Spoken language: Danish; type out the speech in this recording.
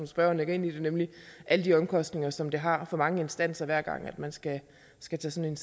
spørgeren lægger ind i det nemlig alle de omkostninger som det har for mange instanser hver gang man skal skal tage sådan